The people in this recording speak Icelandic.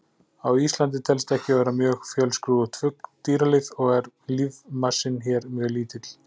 Á Íslandi telst ekki vera mjög fjölskrúðugt dýralíf og er lífmassinn hér mjög lítill.